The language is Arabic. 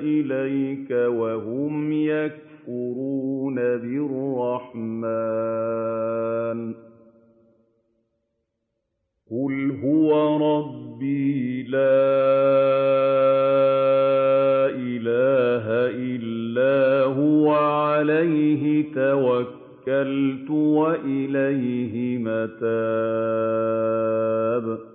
إِلَيْكَ وَهُمْ يَكْفُرُونَ بِالرَّحْمَٰنِ ۚ قُلْ هُوَ رَبِّي لَا إِلَٰهَ إِلَّا هُوَ عَلَيْهِ تَوَكَّلْتُ وَإِلَيْهِ مَتَابِ